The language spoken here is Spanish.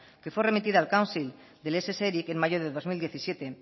que fue remitida al council del ess eric en mayo del dos mil diecisiete en